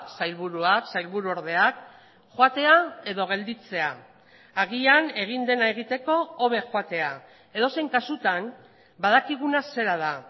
sailburuak sailburu ordeak joatea edo gelditzea agian egin dena egiteko hobe joatea edozein kasutan badakiguna zera da